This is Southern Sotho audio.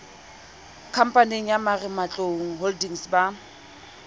khamphaneng ya marematlou holdings ba